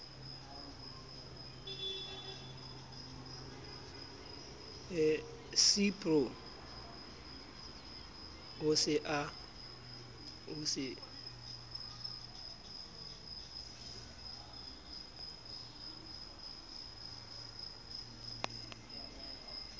cipro ha o se o